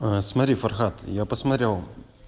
аа смотри фархад я посмотрел